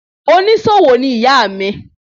Onísòwò ni ìyá mi